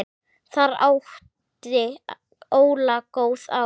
Þar átti Óla góð ár.